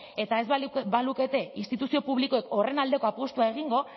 eta ez balukete instituzio publikoek horren aldeko apustua egingo